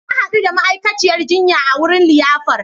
Na hadu da ma'aikaciyar jinya a wurin liyafar